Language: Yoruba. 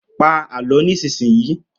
Pa Àlọ́ nísinsìnyí!